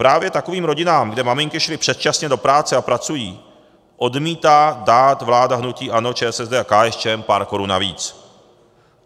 Právě takovým rodinám, kde maminky šly předčasně do práce a pracují, odmítá dát vláda hnutí ANO, ČSSD a KSČM pár korun navíc.